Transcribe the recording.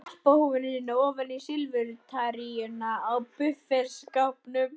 Hann skutlaði alpahúfunni sinni ofan í silfurtarínuna á buffetskápnum.